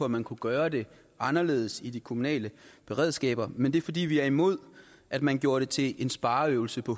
man kunne gøre det anderledes i de kommunale beredskaber men det er fordi vi er imod at man gjorde det til en spareøvelse på